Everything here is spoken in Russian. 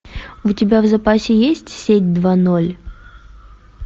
у тебя в запасе есть сеть два ноль